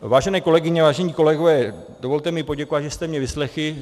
Vážené kolegyně, vážení kolegové, dovolte mi poděkovat, že jste mě vyslechli.